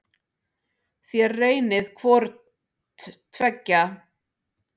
Þér reynið hvort tveggja.